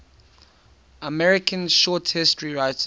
american short story writers